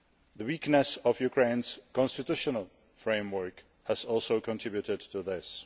The weakness of Ukraine's constitutional framework has also contributed to this.